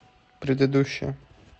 предыдущая